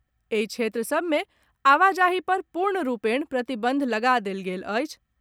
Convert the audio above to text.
एहि क्षेत्र सभ मे आवाजाही पर पूर्ण रूपेण प्रतिबंध लगा देल गेल अछि।